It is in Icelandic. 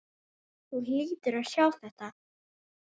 Þú hlýtur að sjá þetta.